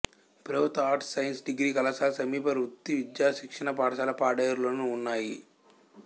ప్రభుత్వ arts science degree కళాశాల సమీప వృత్తి విద్యా శిక్షణ పాఠశాల పాడేరులోనూ ఉన్నాయి